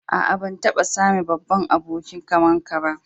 Aa, ban taba same babban abokin ka ba.